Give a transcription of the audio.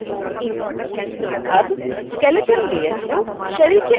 अब skeleton layer को शरीर के अंदर रख दिया गया है